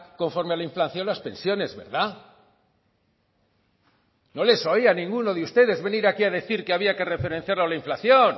conforme a la inflación las pensiones verdad no les oía a ninguno de ustedes venir aquí a decir que había que referenciar la inflación